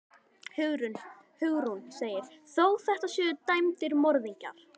Hugrún: Þó þetta séu dæmdir morðingjar?